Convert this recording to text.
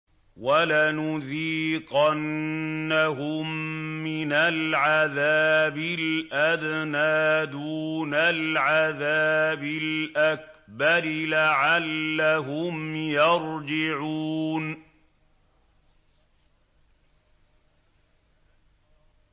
وَلَنُذِيقَنَّهُم مِّنَ الْعَذَابِ الْأَدْنَىٰ دُونَ الْعَذَابِ الْأَكْبَرِ لَعَلَّهُمْ يَرْجِعُونَ